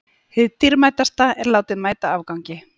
Hið dýrmætasta er látið mæta afgangi.